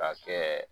Ka kɛ